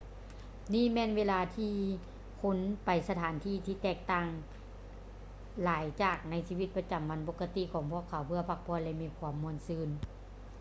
ນີ້ແມ່ນເວລາທີ່ຜູ້ຄົນໄປສະຖານທີ່ ທີ່ແຕກຕ່າງຫຼາຍຈາກໃນຊີວິດປະຈຳວັນປົກກະຕິຂອງພວກເຂົາ ເພື່ອພັກຜ່ອນ ແລະ ມີຄວາມມ່ວນຊື່ນ